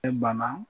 E bana